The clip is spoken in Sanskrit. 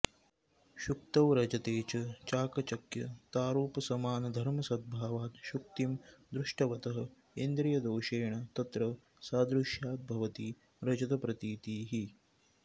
शुक्तौ रजते च चाकचक्यतारुपसमानधर्मसद्भावात् शुक्तिं दृष्टवतः इन्द्रियदोषेण तत्र सादृश्याद् भवति रजतप्रतीतिः